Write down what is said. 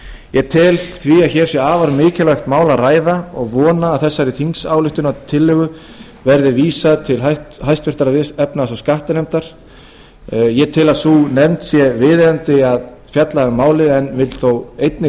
ég tel því að hér sé um afar mikilvægt mál að ræða og vona að þessari þingsályktunartillögu verði vísað til háttvirtrar efnahags og skattanefndar ég tel að sé viðeigandi að fjalla um málið en vil þó einnig